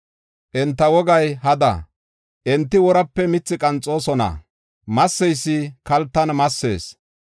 Enta wogay hada; enti worape mithi qanxoosona; masseysi kaltan massees.